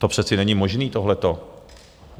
To přece není možné, tohleto!